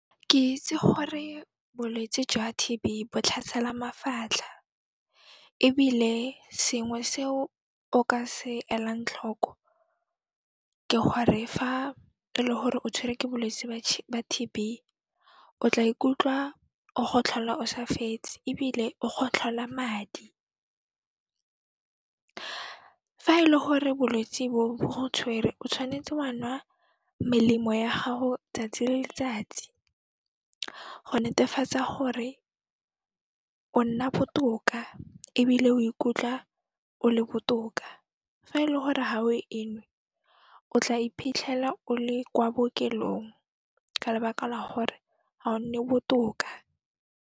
Ke itse gore bolwetsi jwa T_B bo tlhasela mafatlha, ebile sengwe se o ka se elang tlhoko ke gore fa e le hore o tshwere ke bolwetse ba T_B, o tla ikutlwa o gotlhola o sa fetse ebile o gotlhola madi. Fa ele gore bolwetsi bo, bo go tshwere, o tshwanetse wa nwa melemo ya gago tsatsi le letsatsi go netefatsa gore o nna botoka ebile o ikutlwa o le botoka. Fa ele hore ha o e enwe, o tla iphitlhela o le kwa bookelong ka lebaka la gore ga o nne botoka.